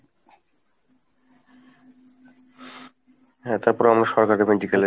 হ্যাঁ তারপরে আমরা সরকারি medical এ